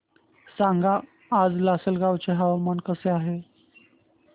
सांगा आज लासलगाव चे हवामान कसे आहे